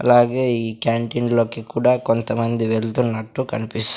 అలాగే ఈ క్యాంటీన్ లోకి కూడా కొంతమంది వెళ్తున్నట్టు కనిపిస్.